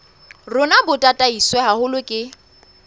rona bo tataiswe haholo ke